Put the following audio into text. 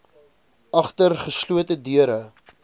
agter geslote deure